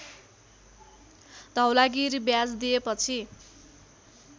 धौलागिरी ब्याज दिएपछि